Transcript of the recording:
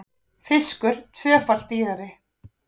Fiskur tvöfalt dýrari